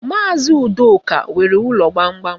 Maazi Udoka nwere ụlọ gbamgbam.